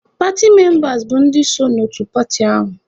Paatị membas bụ ndị so n'otu paatị ahụ.